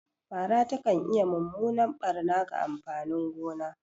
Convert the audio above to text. Fara takan iya mummunan barna ga amfanin gona.